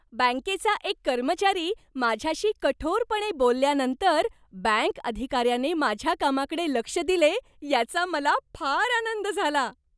बँकेचा एक कर्मचारी माझ्याशी कठोरपणे बोलल्यानंतर बँक अधिकाऱ्याने माझ्या कामाकडे लक्ष दिले याचा मला फार आनंद झाला.